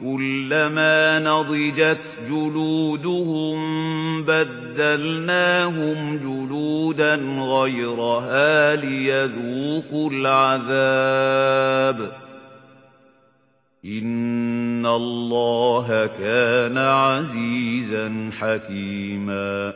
كُلَّمَا نَضِجَتْ جُلُودُهُم بَدَّلْنَاهُمْ جُلُودًا غَيْرَهَا لِيَذُوقُوا الْعَذَابَ ۗ إِنَّ اللَّهَ كَانَ عَزِيزًا حَكِيمًا